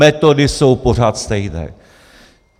Metody jsou pořád stejné.